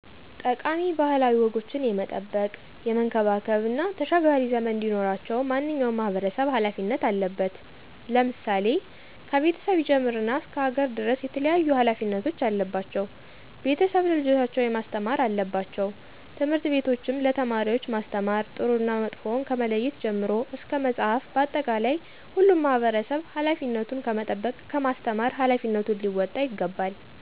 ጠቃሚ ባህላዊ ወጎችን የመጠበቅ፣ የመንከባከብ እና ተሻጋሪ ዘመን እንዲኖራቸው ማንኛውም ማህበረሰብ ሀላፊነት አለበት። ለምሳሌ፦ ከቤተሰብ ይጀምርና እስከ ሀገር ድረስ የተለያዩ ሀላፊነቶች አለባቸው። ቤተሰብ ለልጆቻቸው ማስተማር አለባቸው። ትምህርት ቤቶችም ለተማሪወች ማስተማር ጥሩና መጥፎውን ከመለየት ጀምሮ እስከ በመፅሀፍ መፅሀፍ በአጠቃላይ ሁሉም ማህበረሰብ ሀላፊነቱን ከመጠበቅ ከማስተማር ሀላፊነቱን ሊወጣ ይገባል።